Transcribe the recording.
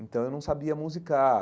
Então eu não sabia musicar.